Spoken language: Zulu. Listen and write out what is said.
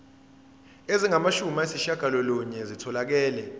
ezingamashumi ayishiyagalolunye zitholakele